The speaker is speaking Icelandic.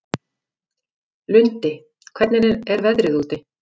Lundi, hvernig er veðrið úti?